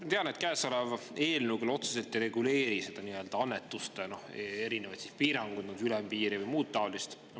Ma tean, et käesolev eelnõu otseselt küll ei reguleeri annetuste erinevaid piiranguid, ülempiiri või muud taolist.